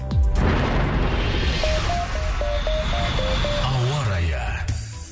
ауа райы